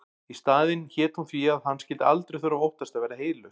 Í staðinn hét hún því að hann skyldi aldrei þurfa að óttast að verða heylaus.